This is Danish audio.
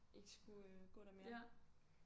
Ikke skulle øh gå der mere